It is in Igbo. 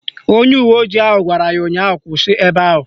Onye uwe ojii ahụ gwara ya ụnyaahụ "Kwụsị ebe ahụ"!